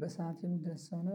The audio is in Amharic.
በሰአት የምደርስ ከሆነ